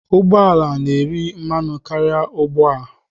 Ụgbọ ala na-eri mmanụ karịa ugbu a.